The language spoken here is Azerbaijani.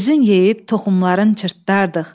Özün yeyib toxumların çırtdardıq.